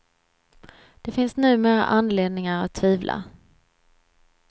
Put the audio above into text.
Det finns numera anledningar att tvivla.